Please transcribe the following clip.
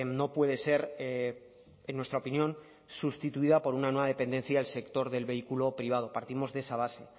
no puede ser en nuestra opinión sustituida por una nueva dependencia del sector del vehículo privado partimos de esa base